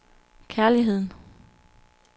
kærligheden